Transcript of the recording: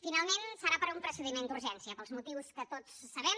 finalment serà per un procediment d’urgència pels motius que tots sabem